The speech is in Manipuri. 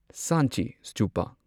ꯁꯥꯟꯆꯤ ꯁ꯭ꯇꯨꯄꯥ